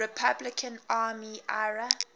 republican army ira